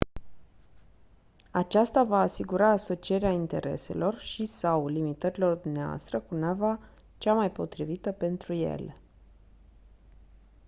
aceasta va asigura asocierea intereselor și/sau limitărilor dvs. cu nava cea mai potrivită pentru ele